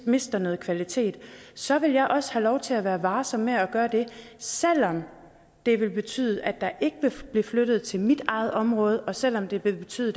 mister noget kvalitet så vil jeg også have lov til at være varsom med at gøre det selv om det ville betyde at der ikke blev flyttet noget til mit eget område og selv om det ville betyde